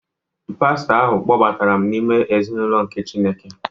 Pastọ ahụ kpọbatara m n’ime ezinụlọ nke Chineke